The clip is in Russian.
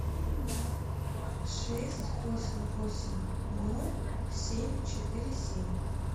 шесть восемь восемь ноль семь четыре семь